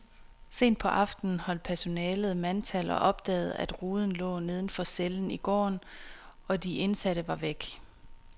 Sent på aftenen holdt personalet mandtal og opdagede, at ruden lå neden for cellen i gården, og de indsatte var væk.